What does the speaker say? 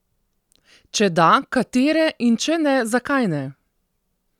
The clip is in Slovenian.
Če da, katere, in če ne, zakaj ne?